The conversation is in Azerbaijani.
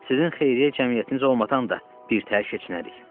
Sizin xeyriyyə cəmiyyətiniz olmadan da birtəhər keçinərik.